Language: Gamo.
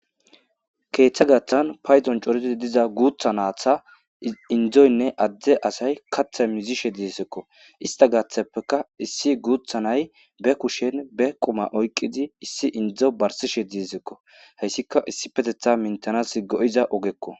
keeththa gaththan payzon coridi diza guutha naatha indzoynne adde asay kathe mizishe diesekko ista gaththeppeka issi guuthanay be kushen be qoma oykqidi issi indzo barsishe disekko hayssika issi petetha mintanas go7iza ogekko